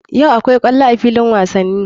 Yau akwai ƙwallo a filin wasani.